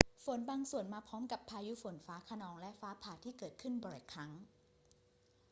ฝนบางส่วนมาพร้อมกับพายุฝนฟ้าคะนองและฟ้าผ่าที่เกิดบ่อยครั้ง